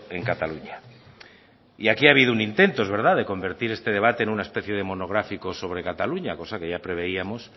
en cataluña y aquí ha habido un intento es verdad de convertir este debate en una especie de monográfico sobre cataluña cosa que ya preveíamos